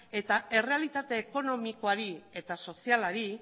eta errealitate ekonomikoari eta sozialari